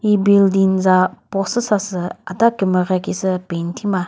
hi building za post zü sasü adha kümere khisü paint thima.